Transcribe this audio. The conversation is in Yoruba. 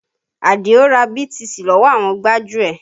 Adio ra BTC lọ́wọ́ àwọn gbájúẹ̀